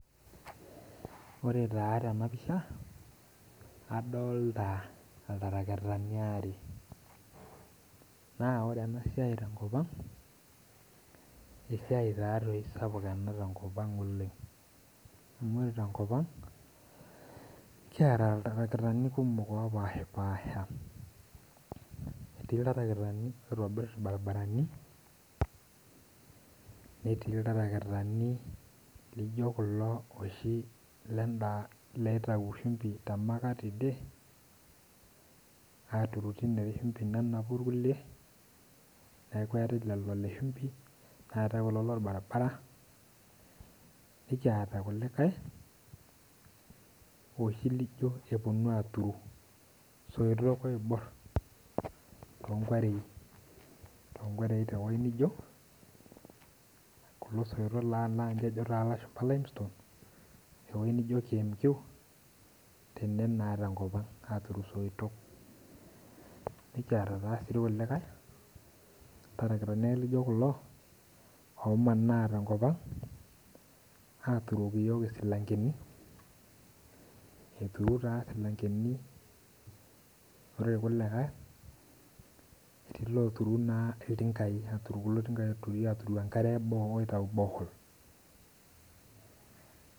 Ore na tenapisha adolta iltarakitani aare na ore enasiai tenkop esiai na sapuk ena tenkop aang oleng ore tenkopang kiata ltarakitani kumok opashipaasha aitobir irbaribarani etii ltarakitani lijo kulo lenda loitau shumbi temaakat tidie aturu tenewueji akeaku lele orbaribara nikiata irkulikaeloshi lijo kulo onapieki soitok tonkuarei kulo soitok ojo lashumba limestone tewoi nijo qmq tene na tenkop aag aturu soitok nekiata taa kulikae Tarakitani lijo kulo omanaa tenkop ang aturoki yiok isilankeni ore ena na oturi na ltingai aturu enkare borehole.